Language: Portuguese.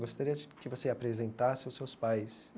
Gostaria que você apresentasse os seus pais.